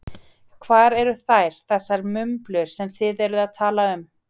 Hvar eru þær, þessar mublur sem þið eruð að tala um?